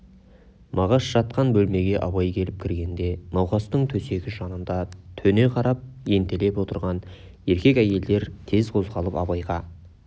мағаш жатқан бөлмеге абай келіп кіргенде науқастың төсегі жанында төне қарап ентелеп отырған еркек әйелдер тез қозғалып абайға